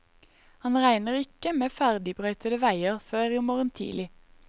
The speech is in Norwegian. Han regner ikke med ferdigbrøytede veier før i morgen tidlig.